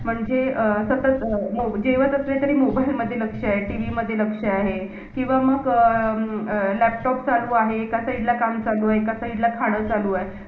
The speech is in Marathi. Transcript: MPSC म्हणजे जे महाराष्ट्रा तून पूर्ण राज्यची exam देतात.